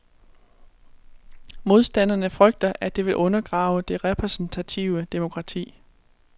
Modstanderne frygter, at det vil undergrave det repræsentative demokrati.